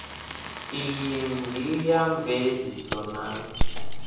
iyi ndi wa mveledziso na